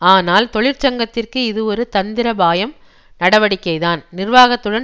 ஆனால் தொழிற்சங்கத்திற்கு இது ஒரு தந்திரபாயம் நடவடிக்கைதான் நிர்வாகத்துடன்